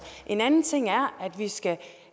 en anden ting er at vi skal